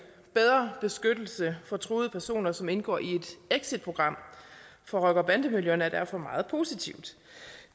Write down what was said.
bedre beskyttelse for truede personer som indgår i et exitprogram fra rocker og bandemiljøerne er derfor meget positivt